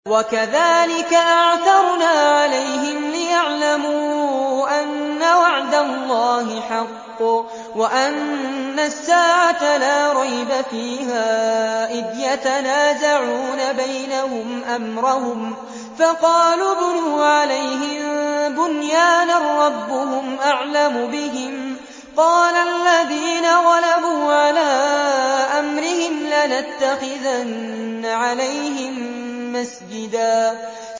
وَكَذَٰلِكَ أَعْثَرْنَا عَلَيْهِمْ لِيَعْلَمُوا أَنَّ وَعْدَ اللَّهِ حَقٌّ وَأَنَّ السَّاعَةَ لَا رَيْبَ فِيهَا إِذْ يَتَنَازَعُونَ بَيْنَهُمْ أَمْرَهُمْ ۖ فَقَالُوا ابْنُوا عَلَيْهِم بُنْيَانًا ۖ رَّبُّهُمْ أَعْلَمُ بِهِمْ ۚ قَالَ الَّذِينَ غَلَبُوا عَلَىٰ أَمْرِهِمْ لَنَتَّخِذَنَّ عَلَيْهِم مَّسْجِدًا